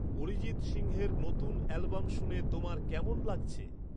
অরিজিৎ সিংহের নতুন অ্যালবাম শুনে তোমার কেমন লাগছে?